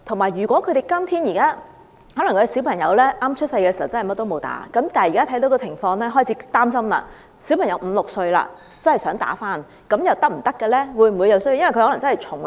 如果小朋友出生時沒有注射任何甚麼疫苗，但現在家長看到這個情況後開始擔心，小朋友如果已五六歲，再注射有關疫苗又是否可行呢？